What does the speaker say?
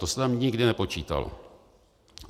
To se tam nikdy nepočítalo.